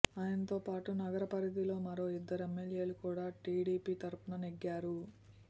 ఆయనతో పాటు నగర పరిధిలో మరో ఇద్దరు ఎమ్మెల్యేలు కూడా టీడీపీ తరఫున నెగ్గారు